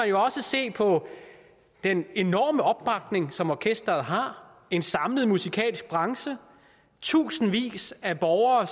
jo også se på den enorme opbakning som orkestret har en samlet musikalsk branche tusindvis af borgere